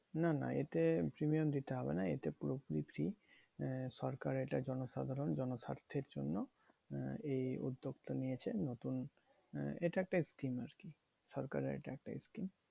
না না এতে premium দিতে হবে না। এতে পুরোপুরি free আহ সরকার এটা জনসাধারণ জনস্বার্থের জন্য এই উদ্যোগটা নিয়েছেন নতুন এটা একটা scheme আরকি? সরকারের এটা একটা scheme.